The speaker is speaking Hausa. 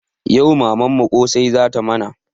Yau mamanmu ƙosai zata mana